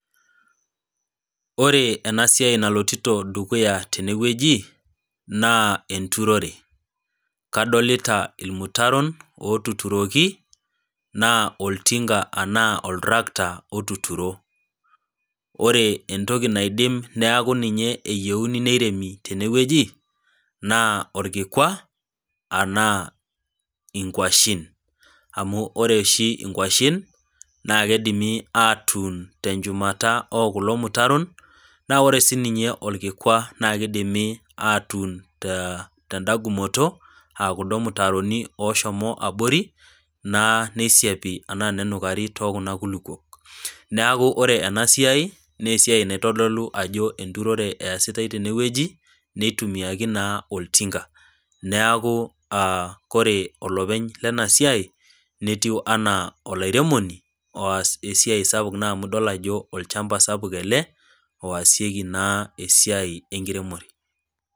Ore ena siai nalotita dukuya teneweji, naa enturore kadolita irmutaron otuturoki naa oltinka anaa oiltracta otuturo, ore entoki nidim eyieu neuni teneweji, naa orkikua enaa nkwashen ,amu ore oshi nkwashen naa keidim atuun teshumata ekulo mutaron naa ore siininye orkikwa naa keidimi aatun tendagumoto okuldo mutaroni oshomo abori nenukari tookun kulupuok. neeku ore ena siai naa esiai naitodolu ajo enturore eesitae teneweji, neitumiaki naa oltinka, neeku ore olepeny lena siai netiu enaa olairemoni oas esiai sapuk amu idol naa ajo olchampa sapuk ele oasieki naa esiai enkiremore.